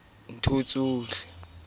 ne a ba tsometsa a